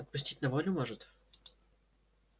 отпустить на волю может